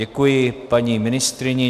Děkuji paní ministryni.